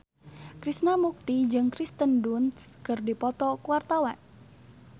Krishna Mukti jeung Kirsten Dunst keur dipoto ku wartawan